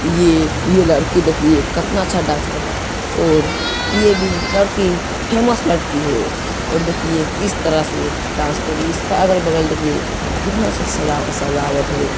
ये ये लड़की देखिए कतना अच्छा डान्स करता है और ये भी लड़की फेमस लड़की है और देखिए किस तरह से डान्स कर रही है इसका अगल-बगल देखिए कितनाअच्छा सजा-सजावट है।